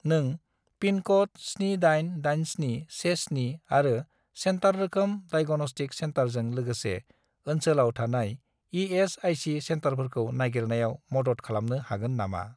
नों पिनक'ड 788717 आरो सेन्टार रोखोम डाइग'नस्टिक सेन्टारजों लोगोसे ओनसोलाव थानाय इ.एस.आइ.सि. सेन्टारफोरखौ नागिरनायाव मदद खालामनो हागोन नामा ?